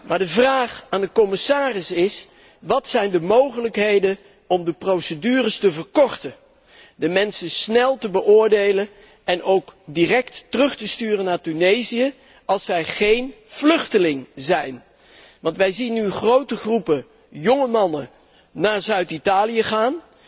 Maar de vraag aan de commissaris is wat zijn de mogelijkheden om de procedures te verkorten, de mensen snel te beoordelen en ook direct terug te sturen naar Tunesië als zij geen vluchteling zijn. Want wij zien nu grote groepen jonge mannen naar Zuid Italië gaan.